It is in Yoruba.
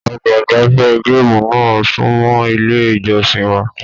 Ọgbà igbafẹ̀ gaamu náà sunmọ ilé ìjọsìn wa.